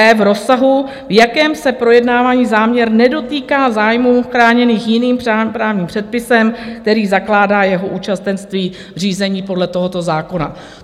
e) v rozsahu, v jakém se projednávaný záměr nedotýká zájmů chráněných jiným právním předpisem, který zakládá jeho účastenství v řízení podle tohoto zákona.